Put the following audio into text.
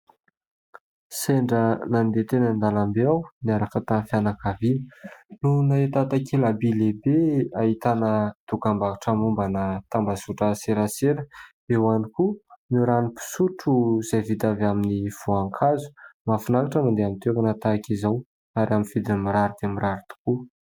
Sendra nadeha teny andalam-be aho niaraka tamin'ny fianakaviana no nahita takela-by lehibe ahitana dokam-barotra mombana tambazotra serasera, eo ihany koa ireo rano fisotro izay vita avy amin'ny voankazo. Mahafinaritra ny mandeha amin'ny toerana tahaka izao ary amin'ny vidiny mirary dia mirary tokoa.